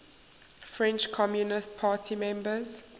french communist party members